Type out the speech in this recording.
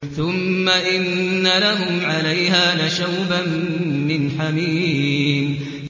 ثُمَّ إِنَّ لَهُمْ عَلَيْهَا لَشَوْبًا مِّنْ حَمِيمٍ